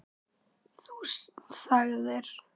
Þú þagðir.